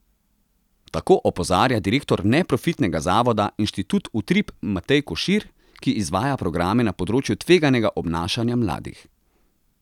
Tako opozarja direktor neprofitnega zavoda Inštitut Utrip Matej Košir, ki izvaja programe na področju tveganega obnašanja mladih.